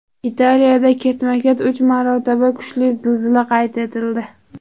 Italiyada ketma-ket uch marotaba kuchli zilzila qayd etildi.